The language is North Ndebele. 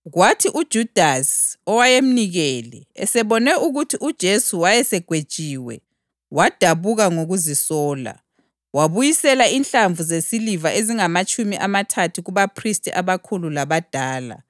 Kwathi uJudasi, owayemnikele, esebona ukuthi uJesu wayesegwetshiwe, wadabuka ngokuzisola, wabuyisela inhlamvu zesiliva ezingamatshumi amathathu kubaphristi abakhulu labadala.